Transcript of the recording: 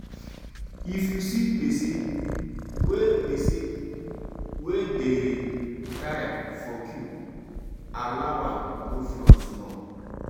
if you see person wey person wey dey tire for queue allow am go front small